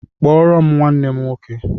kpọrọ nwanne m nwọke